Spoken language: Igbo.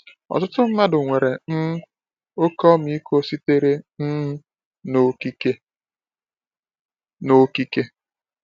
Ọtụtụ mmadụ nwere um oke ọmịiko sitere um n’okike. n’okike.